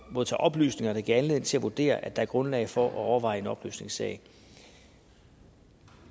modtager oplysninger der giver anledning til at vurdere at der er grundlag for at overveje en opløsningssag